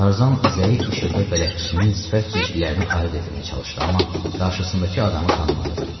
Tarzan zəif işıqda bələdçisinin sifət cizgilərini ayırd etməyə çalışdı, amma qarşısındakı adamı tanımadı.